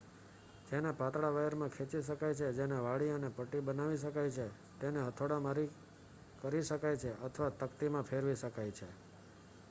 તેને પાતળા વાયરમાં ખેંચી શકાય છે જેને વાળી અને પટ્ટી બનાવી શકાયછે તેને હથોડા મારી કરી શકાય છેઅથવા તકતીમાં ફેરવી શકાય છે